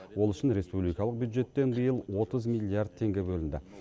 ол үшін республикалық бюджеттен биыл отыз миллиард теңге бөлінді